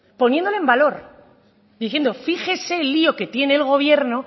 poniéndolo en valor diciendo fíjese el lio que tiene el gobierno